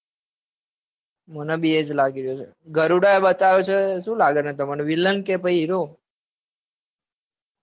મને બી એજ લઇ રહ્યો છે. ગરુડા એ બતાવ્યો છે એ શું લાગે છે તમને